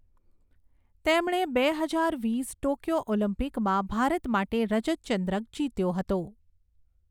તેમણે બે હજાર વીસ ટોક્યો ઓલિમ્પિકમાં ભારત માટે રજત ચંદ્રક જીત્યો હતો.